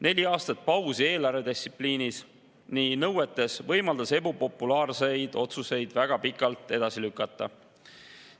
Neli aastat pausi eelarvedistsipliini nõuetes võimaldas ebapopulaarseid otsuseid väga pikalt edasi lükata.